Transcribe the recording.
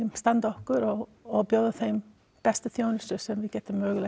standa okkur og og bjóða þeim bestu þjónustu sem við getum mögulega